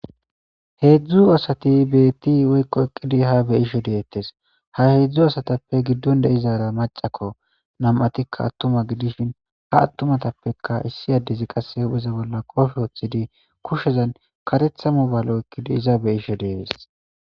Hedzdzu asati beetti woykko eqqi ha be'ishe deettes. Ha hedzdzu asatappe giddon de'izara maccako. Nami'atikka attuma gidishin, ha attimatappekka qasse issi addezi hu'eza bolla qoofe woththidi kushezan kareththa mobale oykkidi iza be'ishe dees.